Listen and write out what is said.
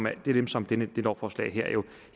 er jo dem som det her lovforslag